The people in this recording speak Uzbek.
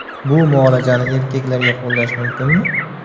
Bu muolajani erkaklarga qo‘llash mumkinmi?